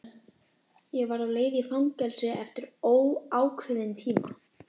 Ég var á leið í fangelsi eftir óákveðinn tíma.